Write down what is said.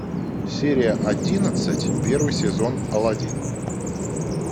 серия одиннадцать первый сезон алладин